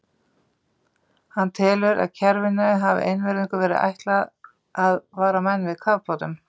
Hann telur, að kerfinu hafi einvörðungu verið ætlað að vara menn við kafbátum.